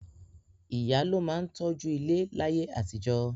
Ìyá ló máa mójú tó ilé láyé àtijọ́